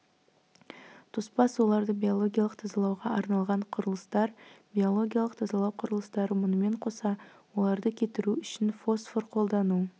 тоспа суларды биологиялық тазалауға арналған құрылыстар биологиялық тазалау құрылыстары мұнымен қоса оларды кетіру үшін фосфор қолдану